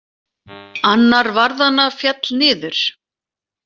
Annar varðanna féll niður.